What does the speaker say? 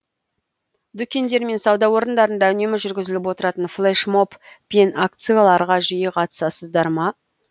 дүкендер мен сауда орындарында үнемі жүргізіліп отыратын флеш моб пен акцияларға жиі қатысасыздар ма